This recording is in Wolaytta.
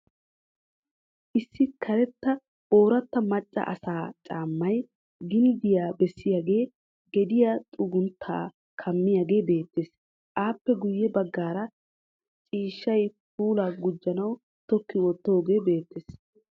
Issi karetta ooratta macca asaa caammay ginddiya bessiyagee gediya xugunttaa kammiyagee beettes. Aappe guyye baggaara ciishshay puulaa gujjanawu tokki wottoogee beettes.